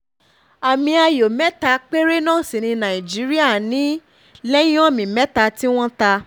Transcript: àmì ayò mẹ́ta péré náà sì ni nàìjíríà um ní lẹ́yìn omi mẹ́ta um tí wọ́n ta